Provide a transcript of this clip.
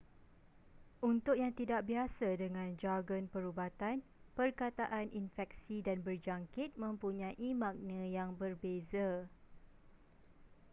untuk yang tidak biasa dengan jargon perubatan perkataan infeksi dan berjangkit mempunyai makna yang berbeza